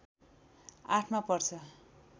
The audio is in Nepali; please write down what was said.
८ मा पर्छ